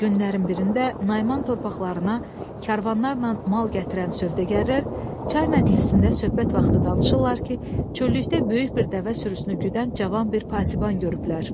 Günlərin birində Naiman torpaqlarına karvanlarla mal gətirən sövdəgərlər çay məclisində söhbət vaxtı danışırlar ki, çöllükdə böyük bir dəvə sürüsünü güdən cavan bir pasiban görüblər.